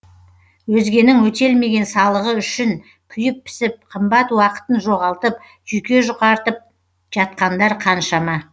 өзгенің өтелмеген салығы үшін күйіп пісіп қымбат уақытын жоғалтып жүйке жұқартып жатқандар қаншама